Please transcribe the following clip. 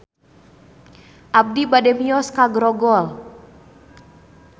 Abi bade mios ka Grogol